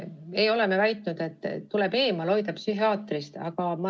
Me ei ole väitnud, et kedagi tuleb psühhiaatrist eemal hoida.